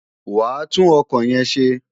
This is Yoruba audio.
Wàá tún ọkọ̀ yẹn ṣe!